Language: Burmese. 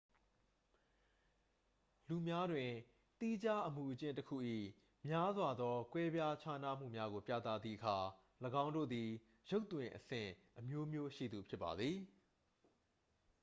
လူများတွင် သီးခြားအမူအကျင့်တစ်ခု၏ များစွာသော ကွဲပြားခြားနားမှုများကိုပြသသည့်အခါ ၎င်းတို့သည် ရုပ်သွင်အဆင့်အမျိုးမျိုးရှိသူဖြစ်ပါသည်